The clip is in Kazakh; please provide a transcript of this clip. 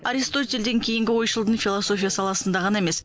аристотельден кейінгі ойшылдың философия саласында ғана емес